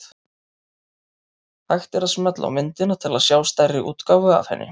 Hægt er að smella á myndina til að sjá stærri útgáfu af henni.